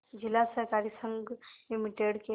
जिला सहकारी संघ लिमिटेड के